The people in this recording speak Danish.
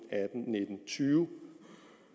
tyve